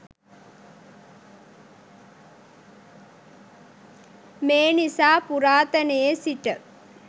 මේ නිසා පුරාතනයේ සිට